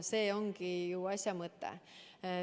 See ongi ju asja mõte.